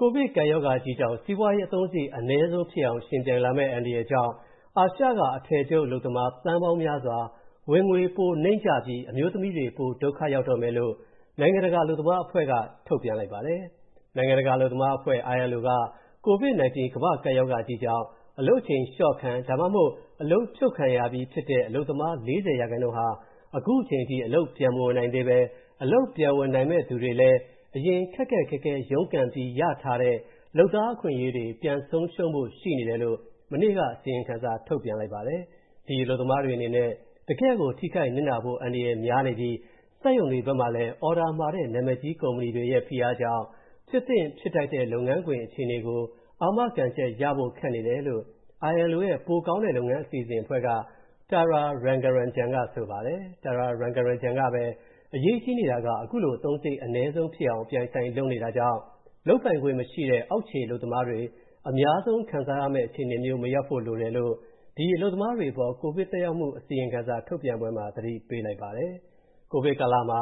ကိုဗစ်ကပ်ရောဂါကြီးကြောင့် စီးပွားရေးအသုံးစရိတ်အနည်းဆုံးဖြစ်အောင် ယှဉ်ပြိုင်လာမယ့် အန္တရာယ်ကြောင့်၊ အာရှက အထည်ချုပ်အလုပ်သမား သန်းပေါင်းများစွာ ဝင်ငွေပိုနိမ့်ကျပြီး၊ အမျိုးသမီးတွေ ပိုဒုက္ခရောက်တော့မယ်လို့ နိုင်ငံတကာအလုပ်သမားအဖွဲ့က ထုတ်ပြန်လိုက်ပါတယ်။ နိုင်ငံတကာအလုပ်သမားအဖွဲ့ ILO ကြီးက ကိုဗစ်-19 ကမ္ဘာ့ကပ်ရောဂါကြီးကြောင့် အလုပ်ချိန်လျော့ခံ (ဒါမှမဟုတ်) အလုပ်ဖြုတ်ခံရပြီးဖြစ်တဲ့ အလုပ်သမား ၄၀% ဟာ ခုချိန်ထိ အလုပ်ပြန်မဝင်နိုင်သေးဘဲ၊ အလုပ်ပြန်ဝင်နိုင်ရင်တောင်မှ ခက်ခက်ခဲခဲရုန်းကန်ပြီးရထားတဲ့ လုပ်သားအခွင့်အရေးတွေ ပြန်ဆုံးရူံးဖို့ရှိနေတယ်လို့ မနေ့က အစီရင်ခံစာထုတ်ပြန်လိုက်ပါတယ်။ ဒီအလုပ်သမားတွေအနေနဲ့ တကယ့်ကို ထိခိုက်နစ်နာဖို့အန္တရာယ်များနေပြီး၊ စက်ရုံတွေဘက်မှာလည်း အော်ဒါမှာတဲ့ နာမည်ကြီးကုမ္ပဏီတွေရဲ့ ဖိအားကြောင့်၊ ဖြစ်သင့်ဖြစ်ထိုက်တဲ့ လုပ်ငန်းခွင်အခြေအနေကို အာမခံချက်ရဖို့ ခက်နေတယ်လို့ ILO ရဲ့ ပိုကောင်းတဲ့လုပ်ငန်းအစီအစဉ်က Tara Rangaranjan က ဆိုပါတယ်။ Tara Rangaranjan ကပဲ အရေးကြီးနေတာက အခုလို အသုံးစရိတ်အနည်းဆုံးဖြစ်အောင် အပြိုင်အဆိုင်လုပ်နေကြတာကြောင့် လုပ်ပိုင်ခွင့်အာဏာမရှိတဲ့ အောက်ခြေအလုပ်သမားတွေ အများဆုံးခံစားရမယ့် အခြေအနေမျိုး မရောက်ဖို့လိုတယ်လို့၊ ဒီ အလုပ်သမားတွေအပေါ် ကိုဗစ်သက်ရောက်မူအစီရင်ခံစာထုတ်ပြန်ပွဲမှာ သတိပေးလိုက်ပါတယ်။ ကိုဗစ်ကာလမှာ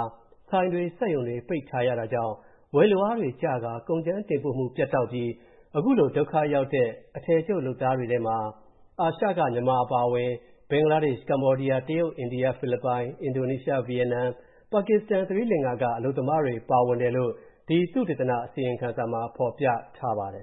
ဆိုင်တွေ၊ စက်ရုံတွေ ပိတ်ထားရတာကြောင့် ဝယ်လိုအားတွေကျကာ၊ ကုန်ကြမ်းတင်ပို့မူပြတ်တောက်ပြီး၊ အခုလိုဒုက္ခရောက်သူတွေထဲမှာ၊ အာရှက မြန်မာအပါအဝင် ဘင်္ဂလားဒေ့ရှ်၊ တရုတ်၊ အိန္ဒိယ၊ ဖိလစ်ပိုင်၊ အင်ဒိုနီးရှား၊ ဗီယက်နမ်၊ ပါကစ္စတန်၊ သိရိလင်္ကာက အလုပ်သမားတွေပါဝင်တယ်လို့ ဒီသုတေသန အစီရင်ခံစာမှာ ဖော်ပြထားပါတယ်